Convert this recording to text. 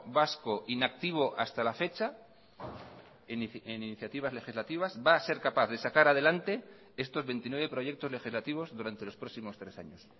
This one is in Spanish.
vasco inactivo hasta la fecha en iniciativas legislativas va a ser capaz de sacar adelante estos veintinueve proyectos legislativos durante los próximos tres años